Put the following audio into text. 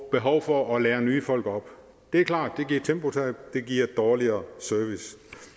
behov for at lære nye folk op det er klart at det giver tempotab og det giver dårligere service